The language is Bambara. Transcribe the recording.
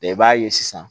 i b'a ye sisan